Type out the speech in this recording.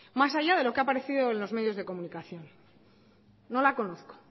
más allá de lo que ha aparecido en los medios de comunicación no la conozco